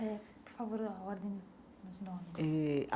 Eh por favor, a ordem dos nomes.